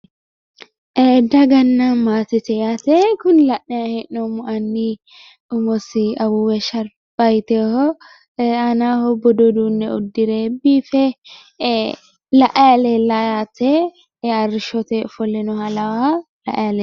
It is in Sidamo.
Daganna maatete yaate kuni la'nanni hee'noommohu annu umosi shalba yiinohu biife arrishote ofole